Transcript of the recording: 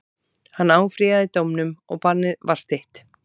Hann áfrýjaði dómnum og bannið var stytt.